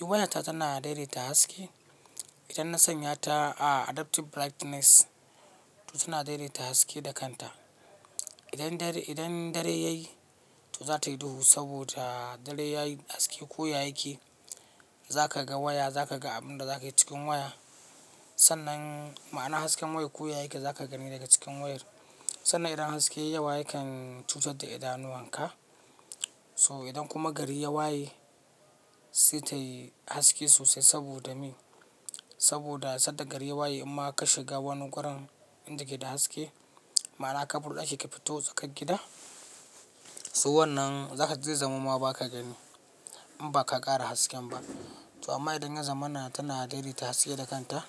Waya ta tana daidaita haske. Idan na sanya ta a adaptiv brightness, to tana daidaita haske da kanta. Idan dare yayi, to za ta yi duhu saboda dare yayi haske koya yake. Za ka ga waya, za ka ga abin da za ka yi cikin waya sannan. Ma'ana hasken wayar koya yake, za ka gani daga cikin wayar. Sannan idan haske yayi yawa yakan cutar da idanuwan ka. To idan kuma gari ya waye, sai tayi haske sosai saboda me? Saboda sanda gari ya waye imma ka shiga wani gurin inda ke da haske, ma'ana kabur daki ka fito tsakar gida, so wannan za ka ji zai zama ma ba ka gani in ba ka ƙara hasken ba. To amma idan yazamana tana daidaita haske da kanta,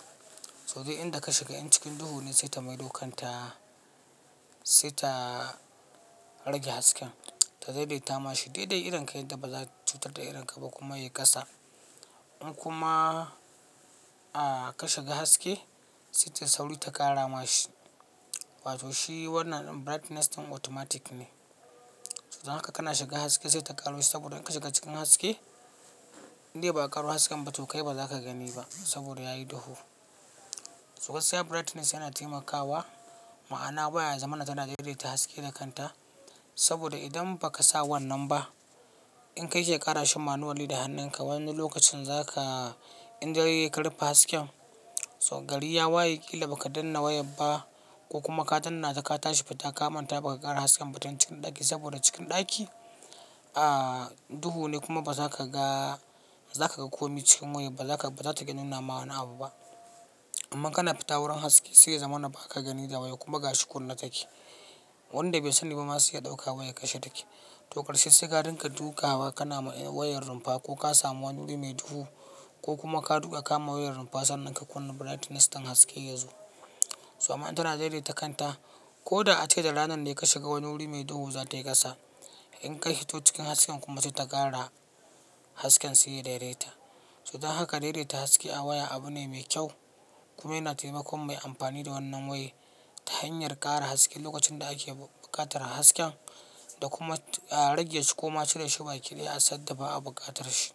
so duk inda ka shiga, in cikin duhu ne sai ta maido kanta sai ta rage hasken ta daidaita mashi daidai idon ka yadda ba za cutar da idon ka ba kuma ya yi ƙasa. In kuma ah ka shiga haske sai tai sauri ta ƙara ma shi. Wato shi wannan brightness ɗin automatic ne. Don haka kana shiga haske sai ta ƙaro shi saboda in ka shiga cikin haske, indai ba'a ƙaro hasken ba to kai ba za ka gani ba saboda yayi duhu. So gaskiya brightnes yana taimakawa. Ma'ana waya ya zamamana tana daidaita haske da kanta. Saboda idan ba ka sa wannan ba, in ka ke ƙara shi manuwali da hannun ka, wani lokacin zaka indare yayi ka rupe hasken so gari ya waye ƙila ba ka danna wayar ba ko kuma ka danna ta ka tashi fita ka manta ba ka ƙara hasken ba tun cikin ɗaki saboda cikin ɗaki ah duhu ne kuma ba za ka ga, ba za ka ga ko me cikin wayar ba, ba za ta ga nuna ma wani abu ba. Amma kana fita wurin haske sai ya zama na ba ka gani da waya kuma gashi kunne take. Wanda bai sa ni ba ma sai ya dauka ɗauka wayar kashe ta ke. To ƙarshe sai ka dinka dukawa kana wayar rumfa ko ka samu wani wuri mai duhu ko kuma ka duka ka kama wayar rumfa sannan ka kunna brightnes ɗin haske ya zo. To amma in tana daidaita kanta. Ko da ace da ranan da ka shiga wani wuri mai duhu za ta yi ƙasa. In ka hito cikin hasken kuma sai ta ƙara hasken sai ya daidaita. Don haka daidaita haske a waya abu ne mai kyau kuma yana taimakon mai ampani da wannan waye ta hanyar ƙara haske lokacin da ake buƙatar hasken da kuma rage su ko ma cire shi bakidaya a sanda ba a buƙatar shi.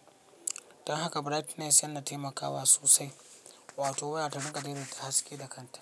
Don haka brightness yana taimakawa sosai. Wato waya ta rinka daidaita haske da kanta.